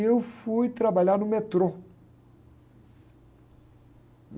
E eu fui trabalhar no metrô.